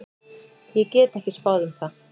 Ég get ekki spáð um það.